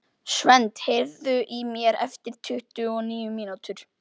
Svend, heyrðu í mér eftir tuttugu og níu mínútur.